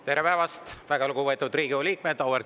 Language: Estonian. Tere päevast, väga lugupeetud Riigikogu liikmed!